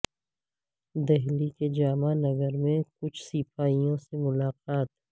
دہلی کے جامعہ نگر میں کچھ سپاہیوں سے ملاقات